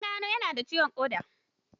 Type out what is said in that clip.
An gano ya nada ciwon ƙoda.